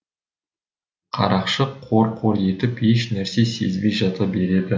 қарақшы қор қор етіп еш нәрсе сезбей жата береді